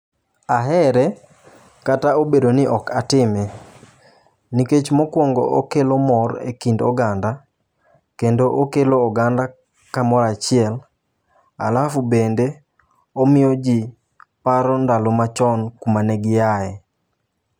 Ahere kata obedo ni ok atime nikech mokwongo kelo mor e kind oganda kendo okelo oganda kamora chiel. Alafu bende omiyo jii paro ndalo machon kuma ne giaye.